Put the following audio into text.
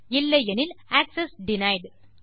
இல்லையெனில் access denied